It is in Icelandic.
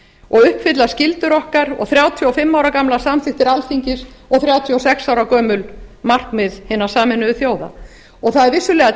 og uppfylla skyldur og þrjátíu og fimm ára gamlar samþykktir alþingis og þrjátíu og sex gömul markmið hinna sameinuðu þjóða það er vissulega